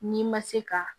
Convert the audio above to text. N'i ma se ka